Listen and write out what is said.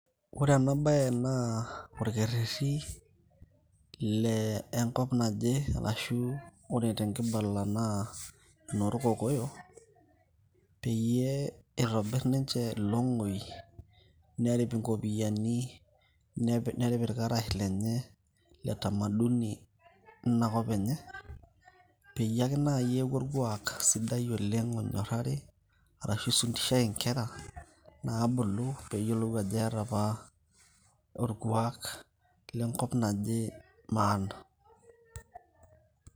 ore ena baye naa orkereti, lenkop naje ashu ore tekibala naa loo irkokoyok, peyie etobir ninche ilong'oi nepik inkopiyiani nepik irkarash lenye le tamaduni leinakop enye, pee eeku orkuak sidi oleng' onyorari, arashu ifundishai inkera naa bulu peee eyiolou ajo eetae apa orkuak lenkop naje.